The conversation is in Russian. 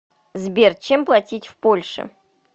сбер чем платить в польше